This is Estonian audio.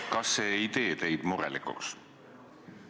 Kas see ei tee teid murelikuks?